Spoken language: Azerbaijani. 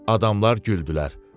Adamlar güldülər.